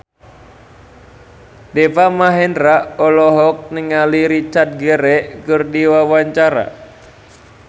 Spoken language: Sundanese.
Deva Mahendra olohok ningali Richard Gere keur diwawancara